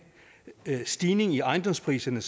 stigning i ejendomspriserne